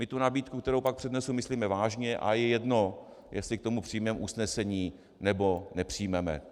My tu nabídku, kterou pak přednesu, myslíme vážně a je jedno, jestli k tomu přijmeme usnesení, nebo nepřijmeme.